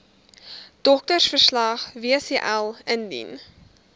doktersverslag wcl indien